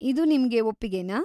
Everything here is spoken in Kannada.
ಇದು ನಿಮ್ಗೆ ಒಪ್ಪಿಗೆನಾ?